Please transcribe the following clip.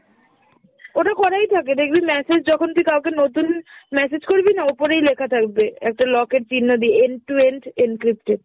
ওটা করাই থাকে দেখবি message যখন তুই কাওকে নতুন message করবি না ওপরেই লেখা থাকবে একটা lock এর চিহ্ন দিয়ে end to end encrypted।